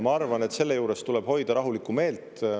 Ma arvan, et selle juures tuleb hoida rahulikku meelt.